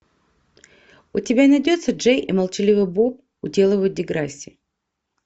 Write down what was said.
у тебя найдется джей и молчаливый боб уделывают деграсси